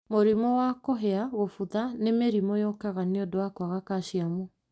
Mũrimũ wa kũhĩa, kũbutha nĩ mĩrimũ yũkaga niũndũ wa kwaga calcium